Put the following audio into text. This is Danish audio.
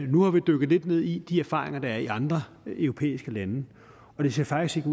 nu har vi dykket lidt ned i de erfaringer der er i andre europæiske lande og det ser faktisk